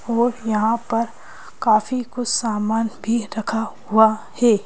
और यहां पर काफी कुछ सामान भी रखा हुआ है।